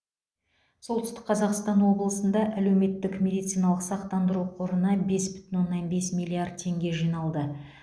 солтүстік қазақстан облысында әлеуметтік медициналық сақтандыру қорына бес бүтін оннан бес миллиард теңге жиналды